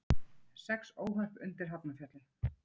Sex óhöpp undir Hafnarfjalli